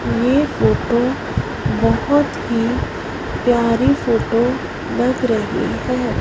ये फोटो बहोत ही प्यारी बहोत लग रही है।